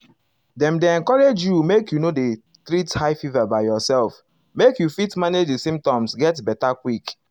dem dey encourage you make you no dey treat high fever by yourself make you fit manage di symptoms get beta quick